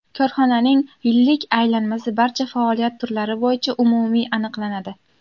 Korxonaning yillik aylanmasi barcha faoliyat turlari bo‘yicha umumiy aniqlanadi.